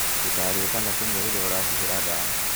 Ndukarĩe kana kũnyua rĩria ũrahuhĩra ndawa.